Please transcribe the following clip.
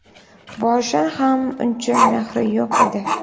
Boshidan ham uncha mehri yo‘q edi.